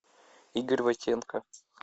игорь войтенко